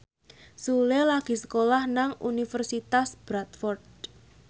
Sule lagi sekolah nang Universitas Bradford